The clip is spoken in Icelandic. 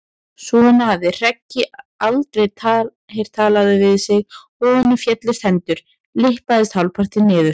Svona hafði Hreggi aldrei heyrt talað við sig og honum féllust hendur, lyppaðist hálfpartinn niður.